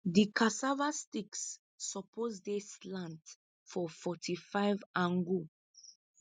di cassava sticks suppose dey slant for forty five angu